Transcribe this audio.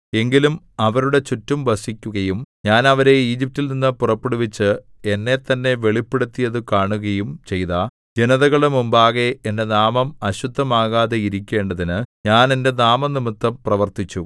എങ്കിലും അവരുടെ ചുറ്റും വസിക്കുകയും ഞാൻ അവരെ ഈജിപ്റ്റിൽ നിന്ന് പുറപ്പെടുവിച്ച് എന്നെത്തന്നെ വെളിപ്പെടുത്തിയത് കാണുകയും ചെയ്ത ജനതകളുടെ മുമ്പാകെ എന്റെ നാമം അശുദ്ധമാകാതെ ഇരിക്കേണ്ടതിന് ഞാൻ എന്റെ നാമംനിമിത്തം പ്രവർത്തിച്ചു